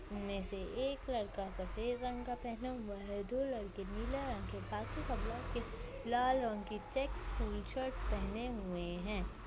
उनमे से एक लड़का सफ़ेद रंग का पहना हुआ है। दो लड़के नीले रंग के काफ़ी सब लड़के लाल रंग के चेक्स स्कूल शर्ट पहने हुए है।